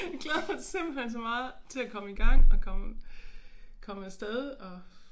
Jeg glæder mig simpelthen så meget til at komme i gang og komme komme af sted og